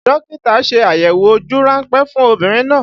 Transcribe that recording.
Dókítà ṣe àyẹ̀wò ojú ránpẹ́ fún obìnrin náà